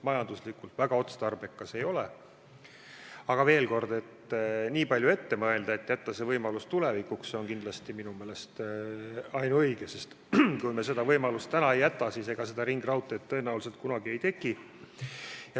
Aga veel kord, see, et nii palju ette mõelda ja jätta see võimalus tulevikuks, on minu meelest ainuõige, sest kui me seda võimalust täna ei jäta, siis ega seda ringraudteed tõenäoliselt kunagi ei teki.